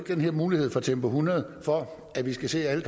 mulighed for tempo hundrede for at vi skal se at